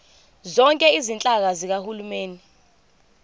zonke izinhlaka zikahulumeni